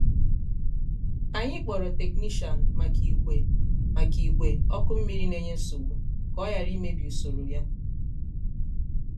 anyị kpọrọ teknishian maka ìgwè maka ìgwè ọkụ mmiri na enye nsogbu ka oghara imebi usoro ya.